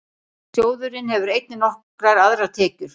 Sjóðurinn hefur einnig nokkrar aðrar tekjur.